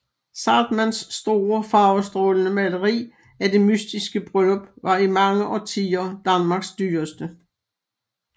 Zahrtmanns store farvestrålende maleri af Det mystiske Bryllup var i mange årtier Danmarks dyreste